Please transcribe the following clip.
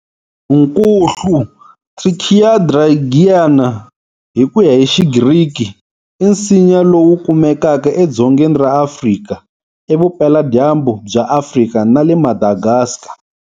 Nkuhlu, Trichilia dregeana, Hi kuya hi xi Griki, i nsinya lowu kumekaka edzongeni ra Afrika, eVupela-dyambu bya Afrika, na le Madagascar.